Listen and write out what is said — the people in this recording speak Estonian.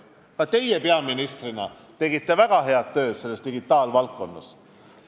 Ka teie tegite peaministrina väga head tööd digitaalvaldkonnas.